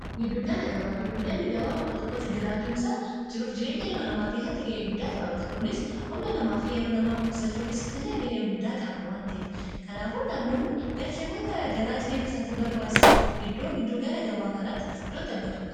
gidduu gala gabaa giddugallii gabaa bakka tokkotti jiraachuun isaa jiruu fi jireen ilma nama keessatti ga'ee guddaa taphata kunis humna namaa fi yeroo nama qosachuu keessatti illee ga'ee guddaa qaba waan ta'ef kanaafu namoonni galteewwan gara garaa jireenya isaatif barbaachisan iddoo gidduu gala gabaa kanatti iddoo itti argatuudha